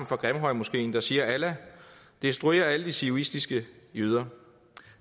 fra grimhøjmoskeen der siger allah destruer alle de zionistiske jøder